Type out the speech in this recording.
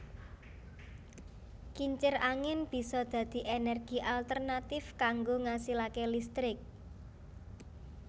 Kincir angin bisa dadi ènèrgi alternatif kanggo ngasilaké listrik